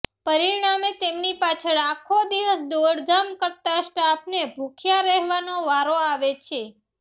પરિણામે તેમની પાછળ આખો દિવસ દોડધામ કરતા સ્ટાફને ભૂખ્યા રહેવાનો વારો આવે છે